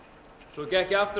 svo gekk ég aftur